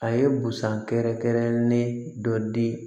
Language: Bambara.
A ye busan kɛrɛkɛrɛn ne dɔ di